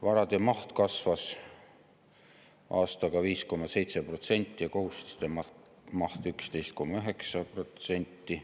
Varade maht kasvas aastaga 5,7% ja kohustuste maht 11,9%.